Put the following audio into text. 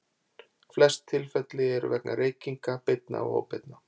Flest tilfelli eru vegna reykinga, beinna og óbeinna.